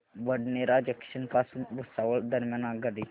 Badnera junction पासून भुसावळ दरम्यान आगगाडी